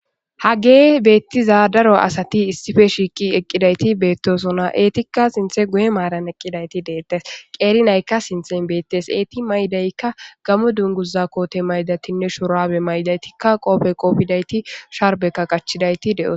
Hage beettiza daro asati issife shiiqi eqqidayti beettosona eetikka sinthe guye maaran eqqidayti deettes qeerinaykka sinthen beettes eeti maydaykka gamo dunguza koote maydatinne shorabe maydaytikka qoofe qoofidayti sharbekka qachidayti de7oos.